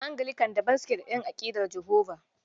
Anglican daban suke da ƴan aƙidar Jehova.